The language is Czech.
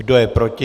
Kdo je proti?